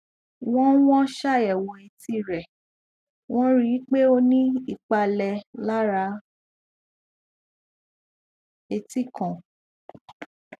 wọn wọn ṣàyẹwò etí rẹ wọn rí i pé ó ní ìpalẹ lára etí kan